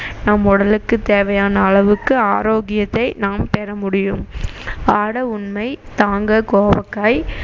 நம் உடலுக்கு தேவையான அளவுக்கு ஆரோக்கியத்தை நாம் பெற முடியும் ஆட உண்மை தாங்க கோவக்காய்